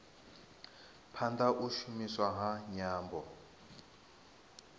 phanda u shumiswa ha nyambo